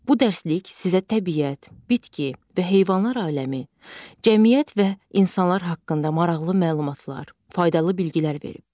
Bu dərslik sizə təbiət, bitki və heyvanlar aləmi, cəmiyyət və insanlar haqqında maraqlı məlumatlar, faydalı biliklər verib.